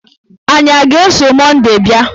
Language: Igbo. Anyị a ga-eso Monday bịa?